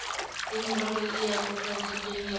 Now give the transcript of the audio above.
le meralong e kopantsweng ya